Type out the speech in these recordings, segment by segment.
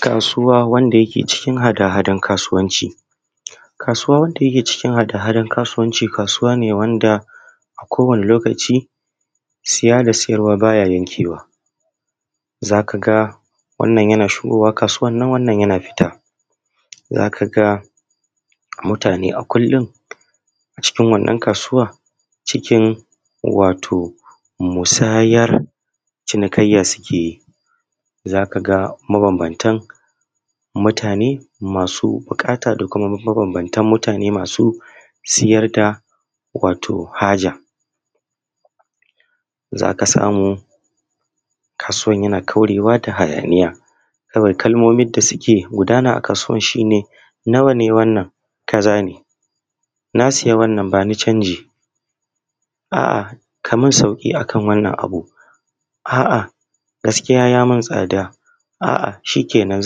Kasuwa wanda yake cikin hada-hadan kasuwanci. Kasuwa wanda yake cikin hada-hadan kasauwanci, ksuwan ne wanda a kowane lokaci siya da siyarwa baya yankewa, za ka ga wannan yana shigowa kasuwan nan wannan yana fita za ka ga mutuna a kullum cikin wannan kasuwan cikin wato musayar cinikayya suke yi za ka mabambantan mutane masu buƙata da kuma maban bantan utane masu siayr da wato haja zaka samu kasuwar yan ƙaurewa da hayaniya kawai kalmomin ta suke gudana a kaso shine nawane wannan kazane nasiya wannan bani canji aa Kaman tsauƙi a kan wannan abu aa gaskiya yam un tsaɗa aa shikenan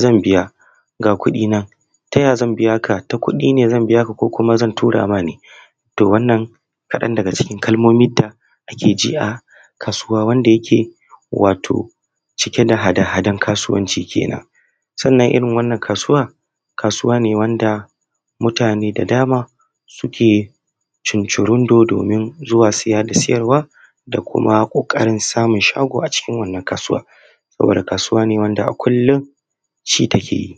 zan bya a ku ɗina taya zanbiya ta kuɗine zanbiya ka koko zan turama ne to wannan kaɗan daga cikin kalmomin da ake ji a kasuwa wanda yake wato cike da hada hadan kasuwanci kenan wannan irin wannan kasuwa kasuwane wanda mutane da dama suke cuncurundo domin zuwa siya da siyarwa da kuma ƙoƙarin samun shago a cikin wannan kasuwan wannan kasuwa ne wanda kullum ci take yi.